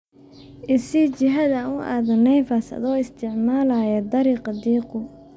I sii jihada aan u aado naives addoo isticmaalaya dariiqa diiqu